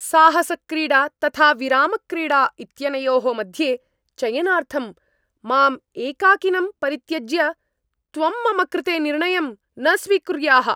साहसक्रीडा तथा विरामक्रीडा इत्यनयोः मध्ये चयनार्थं माम् एकाकिनं परित्यज्य, त्वं मम कृते निर्णयं न स्वीकुर्याः।